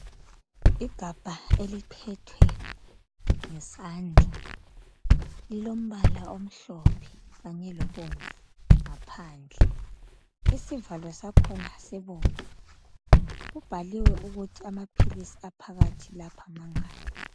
Igabha eliphethwe ngesandla lilombala omhlophe kanye lobomvu ngaphandle, isivalo sakhona sibomvu kubhaliwe ukuthi amaphilisi aphakathi lapha mangaki.